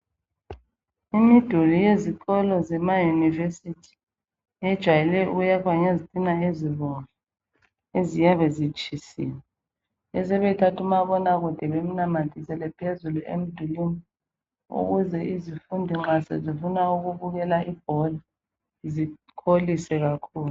Imiduli yezikolo zemaYunivesithi ejwayelwe ukuyakhwa ngezitina ezibomvu eziyabe zitshisiwe besebethatha umabonakude bemnamathisele phezulu emdulwini ukuze izifundi nxa sezifuna ukubukela ibhola zikholise kakhulu.